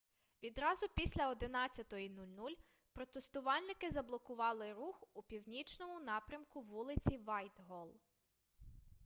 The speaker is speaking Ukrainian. відразу після 11:00 протестувальники заблокували рух у північному напрямку вулиці вайтголл